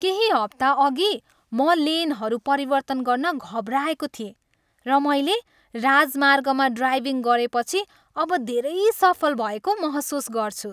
केही हप्ता अघि, म लेनहरू परिवर्तन गर्न घबराएको थिएँ, र मैले राजमार्गमा ड्राइभिङ गरेपछि अब धेरै सफल भएको महसुस गर्छु!